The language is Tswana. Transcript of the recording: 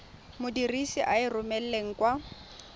modirisi a e romelang kwa